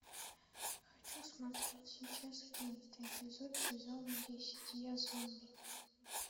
хочу смотреть сейчас одиннадцатый эпизод сезона десять я зомби